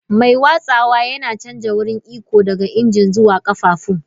Mai watsawa yana canja wurin iko daga injin zuwa ƙafafun.